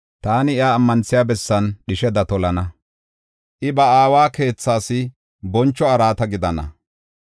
Taani iya ammanthiya bessan dhisheda tolana; I ba aawa keethas boncho araata gidana.